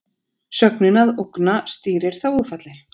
Sögnin að ógna stýrir þágufalli.